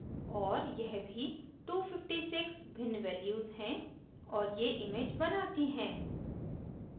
और यह भी 256 भिन्न values हैं और ये image बनाती हैं